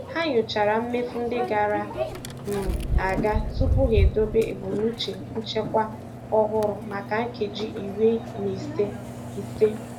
Ha nyochara mmefu ndị gara um aga tupu ha edobe ebumnuche nchekwa ọhụrụ maka nkeji iri na ise. ise.